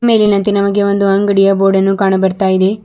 ಮೇಲಿನಂತೆ ನಮಗೆ ಒಂದು ಅಂಗಡಿಯ ಬೋರ್ಡು ಕಾಣು ಬರ್ತಾಇದೇ.